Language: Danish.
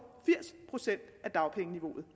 firs procent af dagpengeniveauet